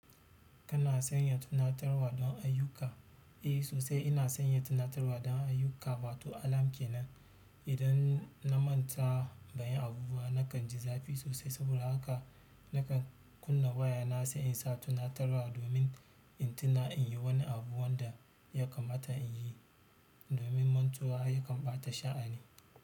Kana sanya tunatarwa don ayyuka? Eh, sosai ina sanya tunatarwa dan ayyuka. Wato alarm kenan. Idan na manta ban yi abu ba na kan ji zafi sosai. Saboda haka nakan kunna waya na sai in sa tunatarwa domin in tuna in yi wani abu wanda ya kamata in yi domin mantuwa ya kan ɓata sha'ani.